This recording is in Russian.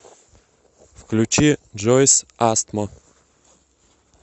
включи джойс астмо